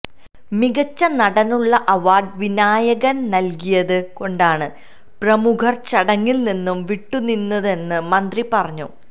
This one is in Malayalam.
മികച്ച നടനുള്ള അവാര്ഡ് വിനായകന് നല്കിയത് കൊണ്ടാണ് പ്രമുഖര് ചടങ്ങില്നിന്ന് വിട്ടുനിന്നതെന്ന് മന്ത്രി പറഞ്ഞു